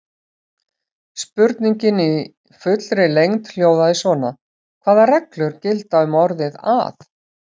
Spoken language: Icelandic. Spurningin í fullri lengd hljóðaði svona: Hvaða reglur gilda um orðið að?